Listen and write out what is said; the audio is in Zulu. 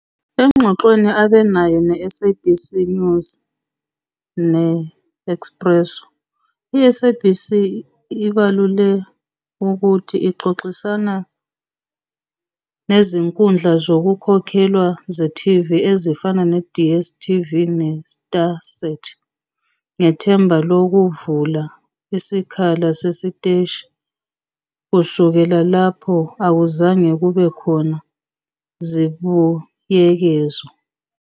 Engxoxweni abe nayo neSABC News neExpresso, i-SABC ibalule ukuthi ixoxisana nezinkundla zokukhokhelwa ze-TV ezifana ne- DStv ne- StarSat ngethemba lokuvula isikhala sesiteshi kusukela lapho akuzange kube khona zibuyekezo.